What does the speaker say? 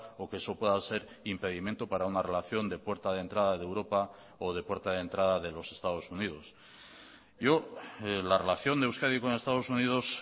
o que eso pueda ser impedimento para una relación de puerta de entrada de europa o de puerta de entrada de los estados unidos yo la relación de euskadi con estados unidos